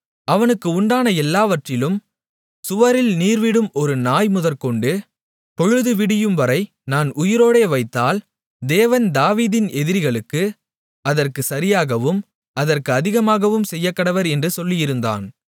அவனுக்கு உண்டான எல்லாவற்றிலும் சுவரில் நீர்விடும் ஒரு நாய் முதற்கொண்டு பொழுதுவிடியும்வரை நான் உயிரோடே வைத்தால் தேவன் தாவீதின் எதிரிகளுக்கு அதற்குச் சரியாகவும் அதற்கு அதிகமாகவும் செய்யக்கடவர் என்று சொல்லியிருந்தான்